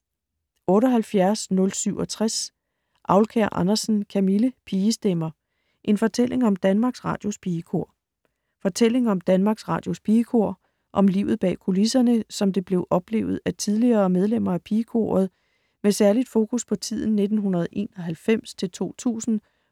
78.067 Aulkær Andersen, Camille: Pigestemmer: en fortælling om Danmarks Radios Pigekor Fortælling om Danmarks Radios Pigekor og om livet bag kulisserne, som det blev oplevet af tidligere medlemmer af pigekoret med særligt fokus på tiden 1991-2000,